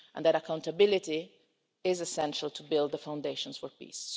Accountability is essential to build the foundations for peace.